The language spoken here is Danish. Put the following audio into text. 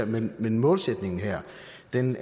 men men målsætningen her